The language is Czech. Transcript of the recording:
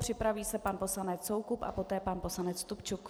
Připraví se pan poslanec Soukup a poté pan poslanec Stupčuk.